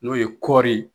N'o ye kɔɔri ye